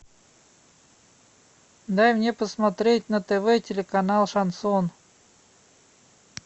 дай мне посмотреть на тв телеканал шансон